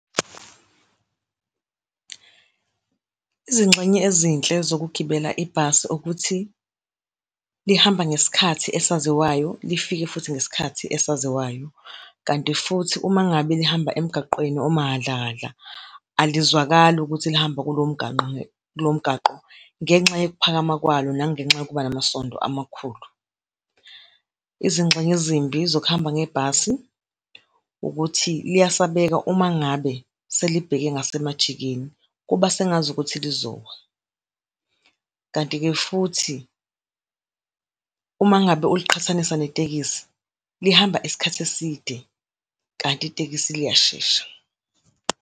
Izingxenye ezinhle zokugibela ibhasi ukuthi lihamba ngesikhathi esaziwayo, lifike futhi ngesikhathi esaziwayo. Kanti futhi uma ngabe lihamba emgaqweni omahadlahadla, alizwakali ukuthi lihamba kulowo mgwaqo, kulowo mgwaqo, ngenxa yokuphakama kwalo, nangenxa yokuba namasondo amakhulu. Izingxenye ezimbi zokuhamba ngebhasi ukuthi liyasabeka uma ngabe selibheke ngasemajikeni, kuba sengazukuthi lizowa. Kanti-ke futhi, uma ngabe uliqhathanisa netekisi, lihamba isikhathi eside, kanti itekisi liyashesha.